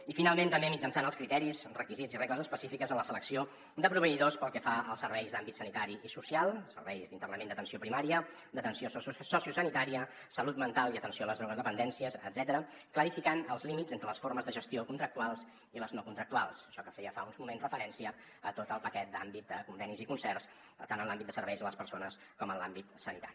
i finalment també mitjançant els criteris requisits i regles específiques en la selecció de proveïdors pel que fa als serveis d’àmbit sanitari i social serveis d’internament d’atenció primària d’atenció sociosanitària salut mental i atenció a les drogodependències etcètera clarificant els límits entre les formes de gestió contractuals i les no contractuals això a què feia fa uns moments referència a tot el paquet d’àmbit de convenis i concerts tant en l’àmbit de serveis a les persones com en l’àmbit sanitari